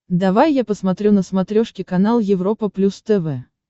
давай я посмотрю на смотрешке канал европа плюс тв